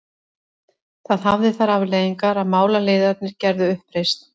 Það hafði þær afleiðingar að málaliðarnir gerðu uppreisn.